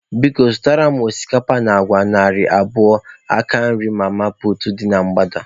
Biko, zụtara m osikapa na agwa narị abụọ na nke nri mama puutu dị na mgbada.